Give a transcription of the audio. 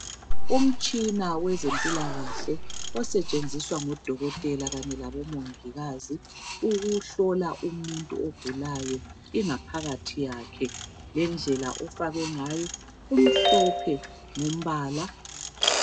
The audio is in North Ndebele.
Umtshina wezempilakahle osetshenziswa ngoDokotela kanye laboMongikazi ukuhlola umuntu ogulayo ingaphakathi yakhe lendlela ofakwe ngayo umhlophe ngombala.